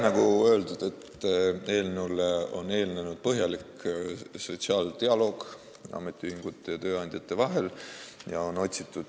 Nagu öeldud, eelnõule eelnes põhjalik sotsiaaldialoog ametiühingute ja tööandjate vahel.